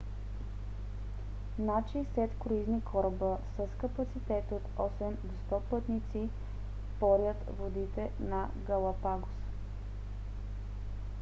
над 60 круизни кораба с капацитет от 8 до 100 пътници порят водите на галапагос